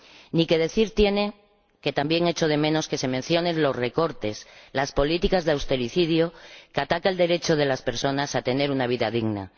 Ni que decir tiene que también echo de menos que se mencionen los recortes, las políticas de austericidio, que atacan el derecho de las personas a tener una vida digna.